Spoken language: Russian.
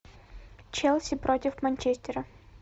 челси против манчестера